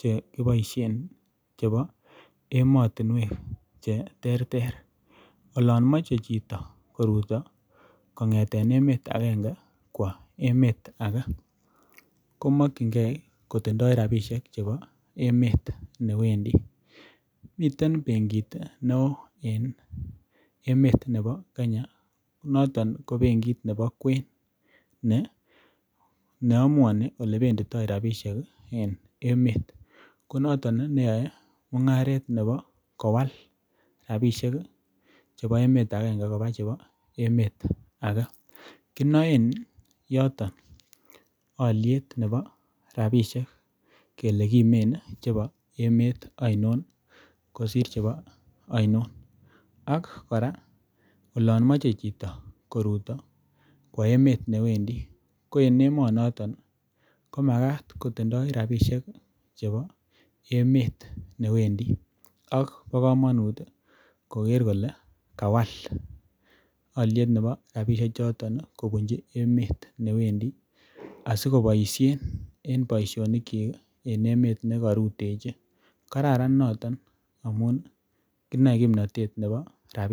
chekiboishen chebo emotinwek cheterter olon mochei chito koruto kong'eten emet agenge kwo emet age komokchingei kotindoi rabishek chebo emet newendi miten benkit ne oo en emet nebo Kenya notok ko benkit nebo kwen neamuani ole benditoi robishek en emet ko noto neyoei mung'aret nebo kowal rabishek chebo emet akenge koba chebo emet age kinoen yoto oliet nebo rabishek kele kimen chebo emet ainon kosir chebo ainon ak kora olon mochei chito koruto kwo emet newendi ko en emonoto ko makat kotindoi rabishek chebo emet newendi ak bo kamanut koker kole kawal oliet nebo rabishe choto kobunji emet newendi asikoboishen en boishonik chi en emet nekarutechin kararan noton amun kinoei kimnotet nebo rabinik